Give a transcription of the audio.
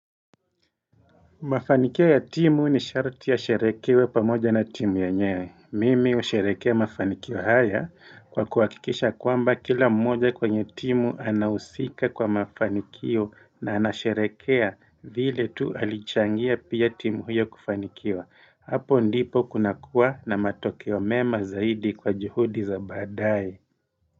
Mafanikio ya timu ni sharti yasherehekewe pamoja na timu yenyewe. Mimi husherekea mafanikio haya kwa kuhakikisha kwamba kila mmoja kwenye timu anahusika kwa mafanikio na anasherehekea vile tu alichangia pia timu huyo kufanikiwa. Hapo ndipo kunakuwa na matokeo mema zaidi kwa juhudi za badaye.